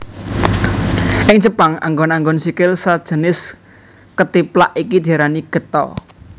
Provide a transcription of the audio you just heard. Ing Jepang anggon anggon sikil sajinis kethiplak iki diarani Geta